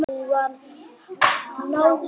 Hún var náhvít í framan.